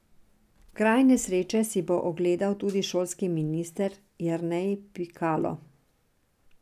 Kraj nesreče si bo ogledal tudi šolski minister Jernej Pikalo.